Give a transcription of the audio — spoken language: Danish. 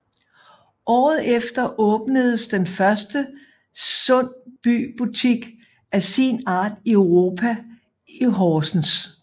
Året efter åbnedes den første Sund By Butik af sin art i Europa i Horsens